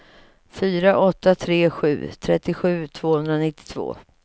fyra åtta tre sju trettiosju tvåhundranittiotvå